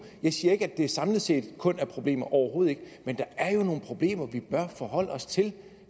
jeg siger ikke at det samlet set kun er problemer overhovedet ikke men der er jo nogle problemer vi bør forholde os til